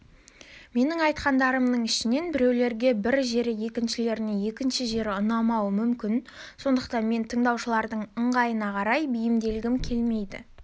менің айтқандарымның ішінен біреулерге бір жері екіншілеріне екінші жері ұнауы мүмкін сондықтан мен тыңдаушылардың ыңғайына қарай бейімделгім келмейді